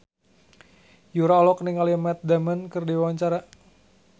Yura olohok ningali Matt Damon keur diwawancara